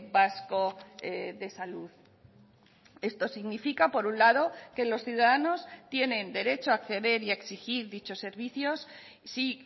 vasco de salud esto significa por un lado que los ciudadanos tienen derecho a acceder y a exigir dichos servicios si